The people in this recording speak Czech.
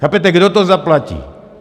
Chápete, kdo to zaplatí?